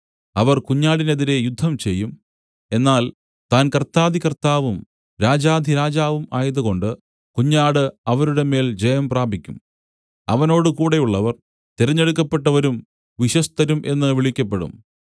അവർ കുഞ്ഞാടിനെതിരെ യുദ്ധം ചെയ്യും എന്നാൽ താൻ കർത്താധികർത്താവും രാജാധിരാജാവും ആയതുകൊണ്ട് കുഞ്ഞാട് അവരുടെ മേൽ ജയംപ്രാപിക്കും അവനോട് കൂടെയുള്ളവർ തിരഞ്ഞെടുക്കപ്പെട്ടവരും വിശ്വസ്തരും എന്ന് വിളിക്കപ്പെടും